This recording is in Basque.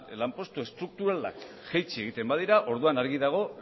lanpostu estrukturalak jaitsi egiten badira orduan argi dago